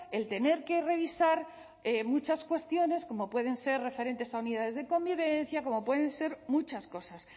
el tener que revisar muchas cuestiones como pueden ser referentes a unidades de convivencia como pueden ser muchas cosas